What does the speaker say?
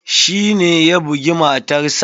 Shi ne ya bugi matarsa.